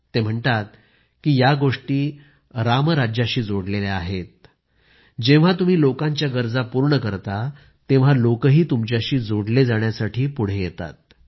ते म्हणतात की या गोष्टी रामराज्याशी जोडलेल्या आहेत जेव्हा तुम्ही लोकांच्या गरजा पूर्ण करता तेव्हा लोकही तुमच्याशी जोडले जाण्यासाठी पुढे येतात